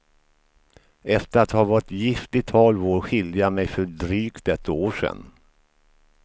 Efter att ha varit gift i tolv år skilde jag mig för drygt ett år sedan.